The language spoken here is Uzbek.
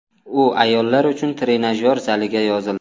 U ayollar uchun trenajyor zaliga yozildi.